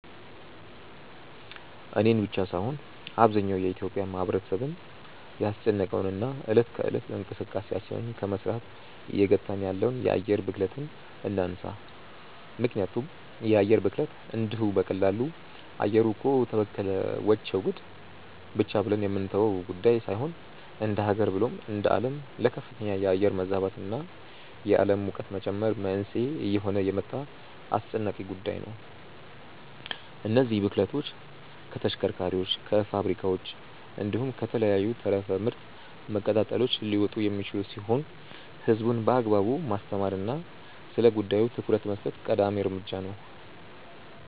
እኔን ብቻ ሳይሆን አብዛኛው የኢትዮጲያ ማህበረሰብን ያስጨነቀውን እና እለት ከእለት እንቅስቃሴያችንን ከመስራት እየገታን ያለውን የአየር ብክለትን እናንሳ። ምክንያቱም የአየር ብክለት እንዲሁ በቀላሉ “አየሩ እኮ ተበከለ… ወቸው ጉድ” ብቻ ብለን የምንተወው ጉዳይ ሳይሆን እንደሃገር ብሎም እንደአለም ለከፍተኛ የአየር መዛባት እና የአለም ሙቀት መጨመር መንስኤ እየሆነ የመጣ አስጨናቂ ጉዳይ ነው። እነዚህ ብክለቶች ከተሽከርካሪዎች፣ ከፋብሪካዎች፣ እንዲሁም ከተለያዩ ተረፈ ምርት መቀጣጠሎች ሊመጡ የሚችሉ ሲሆን ህዝቡን በአግባቡ ማስተማር እና ስለጉዳዩ ትኩረት መስጠት ቀዳሚ እርምጃ ነው።